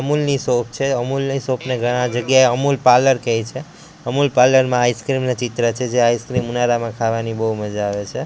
અમૂલની shop છે અમૂલ ની shop ને ઘણા જગ્યાએ અમૂલ પાર્લર કહે છે અમુલ પાર્લર માં આઈસ્ક્રીમ આઈસ્ક્રીમ નો ચિત્ર છે જે આઈસ્ક્રીમ ઉનાળામાં ખાવાની બહુ મજા આવે છે.